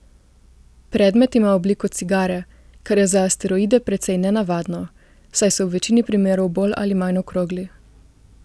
Predmet ima obliko cigare, kar je za asteroide precej nenavadno, saj so v večini primerov bolj ali manj okrogli.